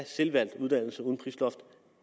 selvvalgte uddannelse uden prisloft